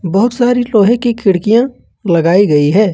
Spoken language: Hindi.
बहुत सारी लोहे की खिड़कियां लगाई गई है।